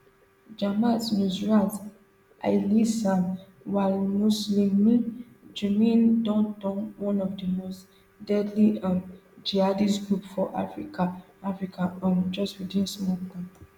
jamaat nusrat alislam walmuslimin jnim don turn one of di most deadly um jihadist groups for africa africa um just within small time